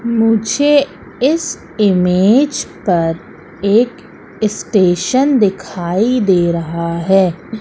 मुझे इस इमेज पर एक स्टेशन दिखाई दे रहा है।